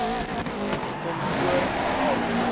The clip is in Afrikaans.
kom voor veral